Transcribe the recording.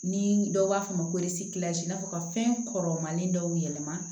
Ni dɔw b'a fɔ a ma ko n'a fɔ ka fɛn kɔrɔmanin dɔw yɛlɛma